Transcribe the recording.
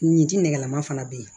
Nin ji nɛgɛlama fana bɛ yen